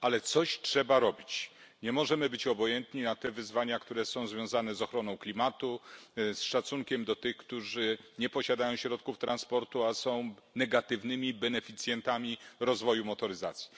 Ale coś trzeba robić, nie możemy być obojętni na te wyzwania, które są związane z ochroną klimatu, z szacunkiem do tych, którzy nie posiadają środków transportu, a są negatywnymi beneficjentami rozwoju motoryzacji.